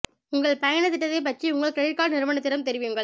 உங்கள் பயணத் திட்டத்தைப் பற்றி உங்கள் கிரெடிட் கார்டு நிறுவனத்திடம் தெரிவியுங்கள்